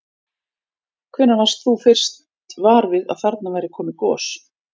Hvenær varst þú fyrst var við að þarna væri komið gos?